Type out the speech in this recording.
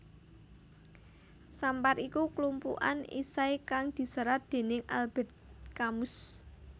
Sampar iku klumpukan esai kang diserat dening Albert Camus